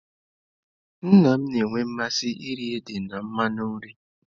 Nna m na-enwe mmasị iri ede na mmanụ nri.